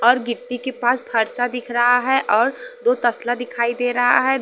और गिट्टी के पास फर्षा दिख रहा है और दो तसला दिखाई दे रहा है।